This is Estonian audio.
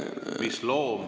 Mis loom ...